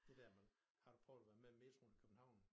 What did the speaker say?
Det dér man har du prøvet at være med metroen i København